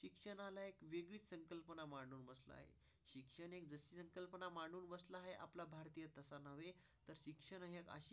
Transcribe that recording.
शिक्षणाशी